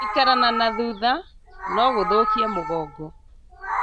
Gũikara na nathutha nogũthũkie mũgongo